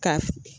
Ka